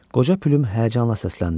Qoca Püm həyəcanla səsləndi.